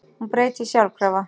Hún breytist sjálfkrafa.